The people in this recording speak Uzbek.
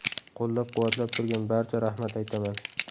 Qo‘llab-quvvatlab turgan barcha rahmat aytaman.